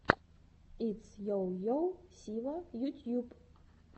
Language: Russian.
итс йо йо сива ютьюб